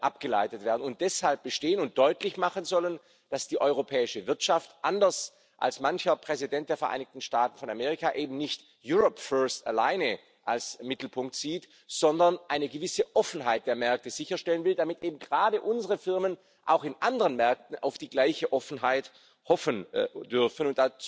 abgeleitet werden, und deshalb bestehen und deutlich machen sollen, dass die europäische Wirtschaft anders als mancher Präsident der Vereinigten Staaten von Amerika eben nicht alleine als Mittelpunkt sieht, sondern eine gewisse Offenheit der Märkte sicherstellen will, damit eben gerade unsere Firmen auch in anderen Märkten auf die gleiche Offenheit hoffen dürfen.